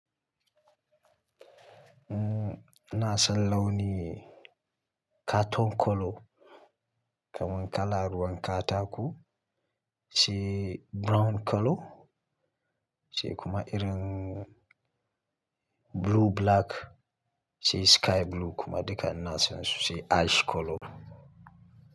Umm, ina san launi ne caton colour kaman kala ruwan katako, shi brown colour, shi kuma irin blue black, sai sky blue kuma duka ina san su sai ash colour.